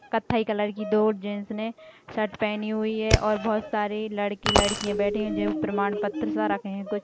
कत्थई कलर की दो जेंट्स ने शर्ट पहनी हुई है और बहुत सारे लड़के लड़कियां बैठे है जेऊ प्रमाण पत्र सा रखे है कुछ--